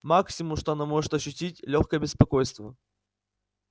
максимум что она может ощутить лёгкое беспокойство